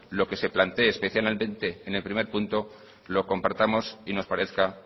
lo que se plantee excepcionalmente en el primer punto lo compartamos y nos parezca